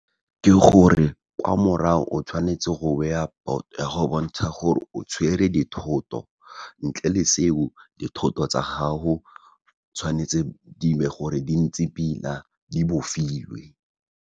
Ke gore kwa morao o tshwanetse go beya boto ya go bontsha gore o tshwere dithoto, ntle le seo, dithoto tsa gago tshwanetse di be gore di ntse pila di bofilwe.